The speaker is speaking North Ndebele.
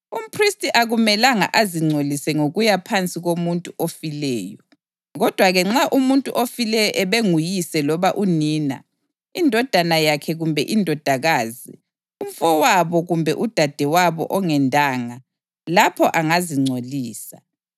Umphristi akumelanga azingcolise ngokuya phansi komuntu ofileyo; kodwa-ke nxa umuntu ofileyo ubenguyise loba unina, indodana yakhe kumbe indodakazi, umfowabo kumbe udadewabo ongendanga, lapho angazingcolisa.